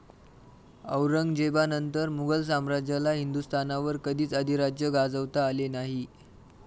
औरंगजेबानंतर मुघल साम्राज्याला हिंदुस्थानवर कधीच अधिराज्य गाजवता आले नाही.